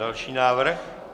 Další návrh.